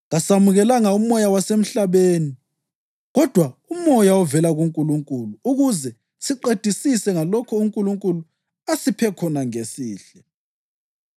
Kasamukelanga umoya wasemhlabeni, kodwa uMoya ovela kuNkulunkulu ukuze siqedisise ngalokho uNkulunkulu asiphe khona ngesihle.